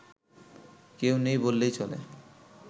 কেউ নেই বললেই চলে